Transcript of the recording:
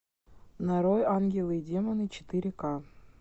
нарой ангелы и демоны четыре ка